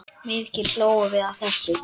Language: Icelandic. Mikið hlógum við að þessu.